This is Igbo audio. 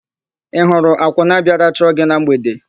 Ị hụrụ akwụna bịara chọọ gị na mgbede?